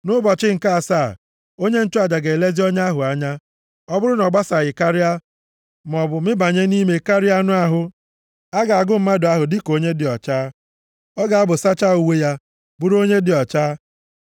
Nʼụbọchị nke asaa, onye nchụaja ga-elezi ọnya ahụ anya. Ọ bụrụ na ọ basaghị karịa, maọbụ mibanye nʼime karịa anụ ahụ, a ga-agụ mmadụ ahụ dịka onye dị ọcha. Ọ ga-apụ sachaa uwe ya, bụrụ onye dị ọcha.